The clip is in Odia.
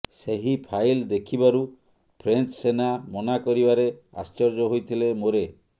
ସେହି ଫାଇଲ ଦେଖିବାରୁ ଫ୍ରେଞ୍ଚ ସେନା ମନାକରିବାରେ ଆଶ୍ଚର୍ଯ୍ୟ ହୋଇଥିଲେ ମୋରେ